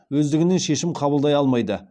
өздігінен шешім қабылдай алмайды